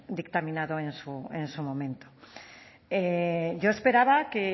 dictaminado en su momento yo esperaba que